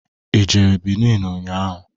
Ị jere Bini ụnyaahụ?